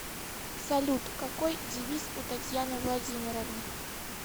салют какой девиз у татьяны владимировны